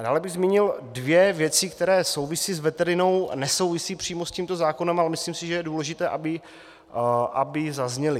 Dále bych zmínil dvě věci, které souvisí s veterinou a nesouvisí přímo s tímto zákonem, ale myslím si, že je důležité, aby zazněly.